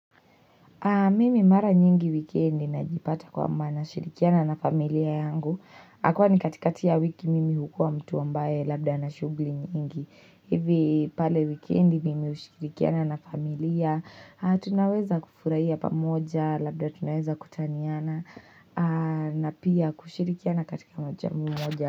Mimi mara nyingi wikendi najipata kwamba na shirikiana na familia yangu. Akawa ni katika ya wiki mimi hukua mtu wambaye labda na shugli nyingi. Hivi pale wikendi mimi ushirikiana na familia. Tunaweza kufuraiya pamoja labda tunaweza kutaniana. Na pia kushirikiana katika moja mmoja.